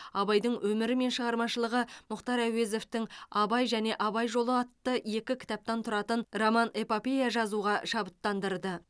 абайдың өмірі мен шығармашылығы мұхтар әуезовті абай және абай жолы атты екі кітаптан тұратын роман эпопея жазуға шабыттандырды